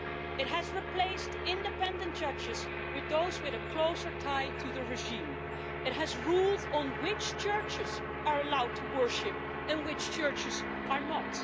It has replaced independent judges with those with a closer tie to the regime. It has rules on which churches are allowed to worship and which churches are not.